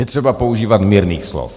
Je třeba používat mírných slov.